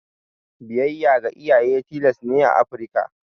Biyayya ga iyaye tilas ne a Afrika.